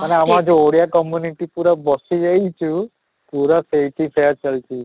ମାନେ ଆମର ଯଉ ଓଡ଼ିଆ community ପୁରା ବସି ଯାଇଛୁ, ପୁରା ସେଇଠି pack ଚାଲିଛି